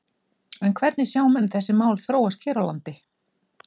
En hvernig sjá menn þessi mál þróast hér á landi?